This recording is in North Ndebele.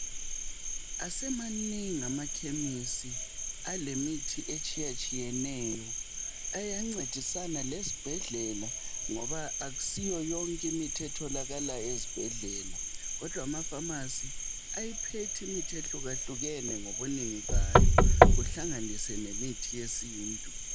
Asemanengi amakhemisi alemithi etshiyetshiyeneyo. Ayancedisana lezibhedlela ngoba akusiyo yonke imithi etholakala ezibhedlela kodwa ama"pharmacy " ayiphethe imithi ehlukahlukene ngobunengi bayo kuhlanganise lemithi yesintu.